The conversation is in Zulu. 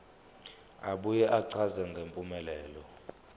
abuye achaze ngempumelelo